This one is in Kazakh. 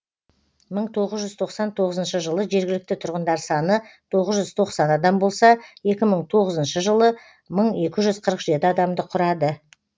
мың тоғыз жүз тоқсан тоғызыншы жылы жергілікті тұрғындар саны тоғыз жүз тоқсан адам болса екі мың тоғызыншы жылы мың екі жүз қырық жеті адамды құрады